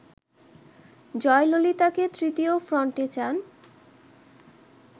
জয়ললিতাকে তৃতীয় ফ্রন্টে চান